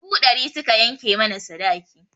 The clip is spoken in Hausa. Dubu ɗari suka yanke mana sadaki.